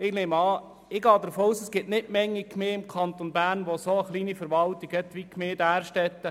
Ich gehe davon aus, dass es nicht viele Gemeinden im Kanton Bern gibt, die einen so kleinen Verwaltungsapparat haben wie die Gemeinde Därstetten.